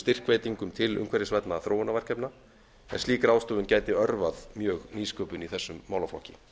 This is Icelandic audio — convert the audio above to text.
styrkveitingum til umhverfisvænna þróunarverkefna en slík ráðstöfun gæti örvað mjög nýsköpun í þessum málaflokki